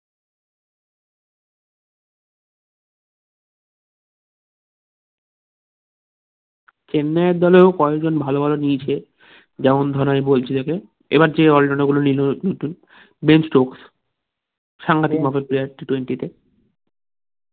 চেন্নাই দলের ও কয়েকজন ভালো ভালো নিয়েছে যেমন ধরো এই বলছিলে যে এবার কে all rounder গুলো নিলো ও কিন্তু বেস্ট সাংঘাতিক মতো player t twenty তে